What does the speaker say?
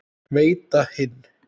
Veita hinn